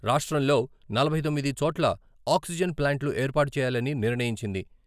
రాష్ట్రంలో నలభై తొమ్మిది చోట్ల ఆక్సిజన్ ప్లాంట్లు ఏర్పాటు చేయాలని నిర్ణయించింది.